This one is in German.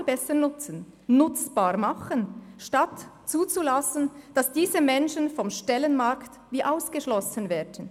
Wir sollten dieses Potenzial nutzbar machen, statt zuzulassen, dass diese Menschen vom Stellenmarkt ausgeschlossen werden.